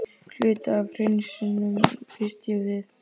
Hluti af hreinsunum, býst ég við.